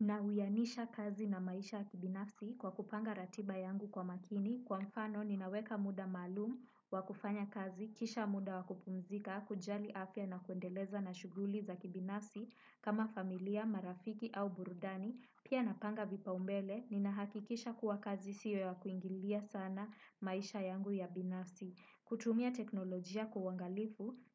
Na huyanisha kazi na maisha ya kibinafsi, kwa kupanga ratiba yangu kwa makini, kwa mfano nina weka muda maalum, wa kufanya kazi, kisha muda wa kupumzika, kujali afya na kuendeleza na shuguli za kibinafsi kama familia, marafiki au burudani, pia napanga vipau mbele, nina hakikisha kuwa kazi siyo ya kuingilia sana maisha yangu ya binafsi. Na huyanisha kazi na maisha ya kibinafsi kwa kupanga ratiba yangu kwa makini, kwa mfano nina weka muda maalum wa kufanya kazi, kisha muda wa kupumzika, kujali afya na kuendeleza na